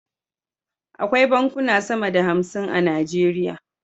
Akwai bankuna sama da hamsin a nigeria